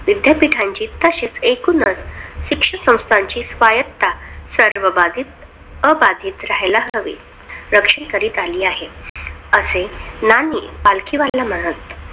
विद्यापीठाची तसेच एकूणचं शिक्षण संस्थेची स्वायत्तता सर्व बाधित अबाधित राहिला हवी. रक्षण करीत आली आहे, असे नानी पालखी वाहिला म्हणत.